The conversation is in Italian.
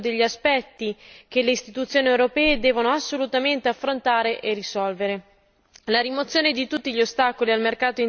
La perdita di competitività che ne deriva è uno degli aspetti che le Istituzioni europee devono assolutamente affrontare e risolvere.